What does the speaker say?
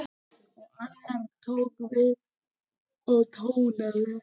Og annar tók við og tónaði: